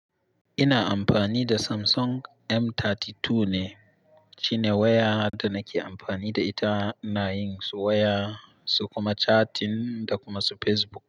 Ina amfani da Samsung M32 ne. Shine waya da nake amfani da ita ina yin su waya su kuma chatting da kuma su Facebook.